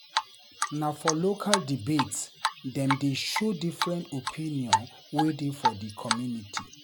Na for local debate dem dey show different opinion wey dey for di community.